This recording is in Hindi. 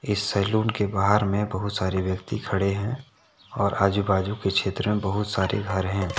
इस सैलून के बाहर में बहुत सारे व्यक्ति खड़े हैं और आजू बाजू के क्षेत्र में बहुत सारे घर हैं।